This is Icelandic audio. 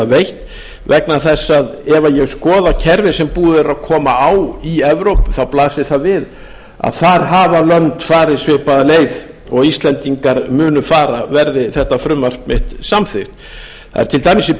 veitt vegna þess ef ég skoða kerfið sem búið er að koma á í evrópu þá blasir það við að þar hafa lönd farið svipaða leið og íslendingar munu fara verði þetta frumvarp mitt samþykkt það er til dæmis í